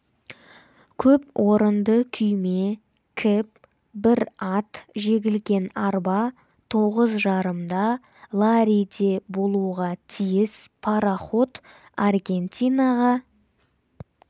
көп орынды күйме кэб бір ат жегілген арба тоғыз жарымда ларриде болуға тиіс пароход аргентинаға